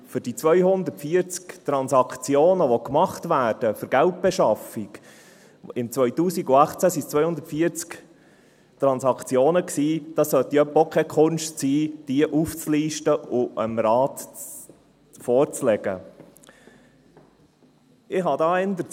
Die 240 Transaktionen – 2018 waren es 240 Transaktionen –, die für Geldbeschaffung gemacht werden, aufzulisten und dem Rat vorzulegen, sollte doch wohl auch keine Kunst sein.